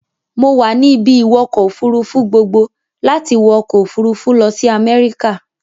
Mo wà ní ibi-ìwọkọ̀-òfurufú gboogbo láti wọ ọkọ-òfurufú lọ sí America.